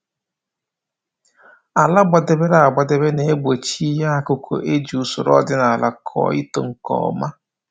Ala gbadebere agbadebe na-egbochi ihe akụkụ e ji usoro ọdịnaala kụọ ito nke ọma